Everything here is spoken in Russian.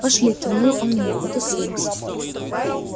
пошли кивнул он мне потусуемся